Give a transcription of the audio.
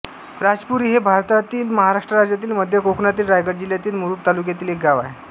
राजपुरी हे भारतातील महाराष्ट्र राज्यातील मध्य कोकणातील रायगड जिल्ह्यातील मुरूड तालुक्यातील एक गाव आहे